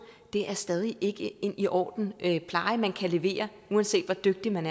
det er stadig ikke en ordentlig pleje man kan levere uanset hvor dygtig man